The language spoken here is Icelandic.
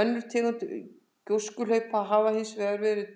Önnur tegund gjóskuhlaupa hafa hins vegar verið